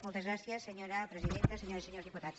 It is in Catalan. moltes gràcies senyora presidenta senyores i senyors diputats